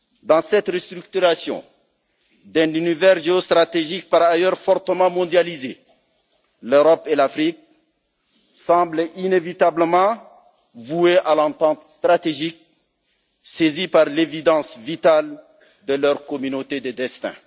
Dans cette restructuration d'un univers géostratégique, par ailleurs fortement mondialisé, l'Europe et l'Afrique semblent inévitablement vouées à l'entente stratégique, saisies par l'évidence, vitale, de leur communauté de destin.